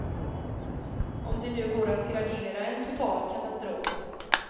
Om det nu går att gradera en total katastrof.